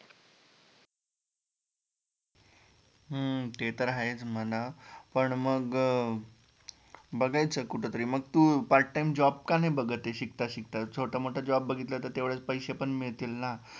हम्म ते तर आहेच म्हणा, पण मग बघायाचं कुठतरी मग तु Part time job का नाही बघतये शिकता शिकता छोटा मोठा Job बघितला तर तेवढेच पैसे पण मिळतील ना